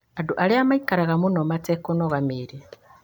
Andũ arĩa maikaraga mũno matekũnogora mĩĩrĩ